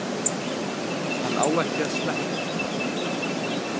Hann á ekki að sleppa.